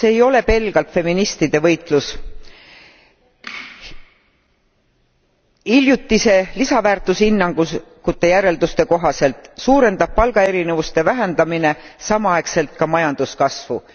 See ei ole pelgalt feministide võitlus hiljutiste lisaväärtushinnangute järelduste kohaselt suurendab palgaerinevuste vähendamine samaaegselt ka majanduskasvu.